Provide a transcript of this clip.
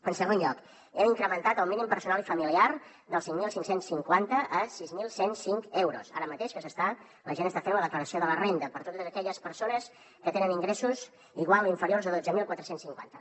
en segon lloc hem incrementat el mínim personal i familiar dels cinc mil cinc cents i cinquanta a sis mil cent i cinc euros ara mateix que la gent està fent la declaració de la renda per a totes aquelles persones que tenen ingressos iguals o inferiors a dotze mil quatre cents i cinquanta